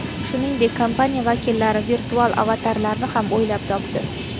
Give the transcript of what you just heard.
Shuningdek, kompaniya vakillari virtual avatarlarni ham o‘ylab topdi.